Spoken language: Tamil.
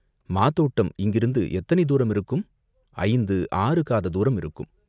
"மாதோட்டம் இங்கிருந்து எத்தனை தூரம் இருக்கும்?" "ஐந்து, ஆறுகாத தூரம் இருக்கும்.